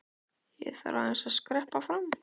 Ég þarf aðeins að skreppa fram.